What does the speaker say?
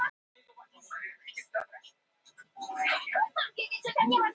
Tungufelli